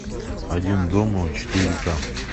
один дома четыре ка